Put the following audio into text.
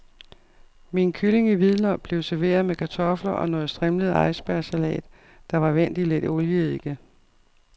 Min kylling i hvidløg blev serveret med kartofler og noget strimlet icebergsalat, der var vendt i lidt olieeddike.